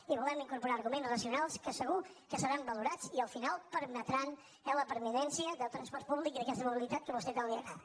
hi volem incorporar arguments racionals que segur que seran valorats i al final permetran eh la permanència del transport públic i d’aquesta mobilitat que a vostè tant li agrada